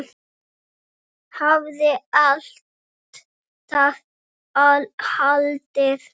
Hafði alltaf haldið.